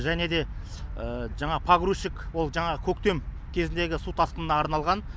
және де жаңағы погрузчик ол жаңағы көктем кезіндегі су тасқынына арналған